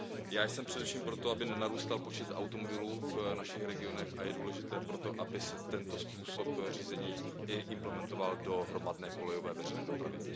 Já jsem především pro to, aby nenarůstal počet automobilů v našich regionech, a je důležité proto, aby se tento způsob řízení i implementoval do hromadné i kolejové veřejné dopravy.